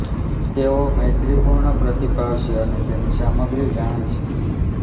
તેઓ મૈત્રીપૂર્ણ પ્રતિભાવ છે અને તેમની સામગ્રી જાણે છે